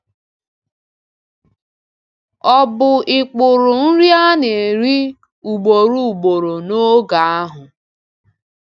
Ọ̀ bụ ikpuru nri a na-eri ugboro ugboro n’oge ahụ?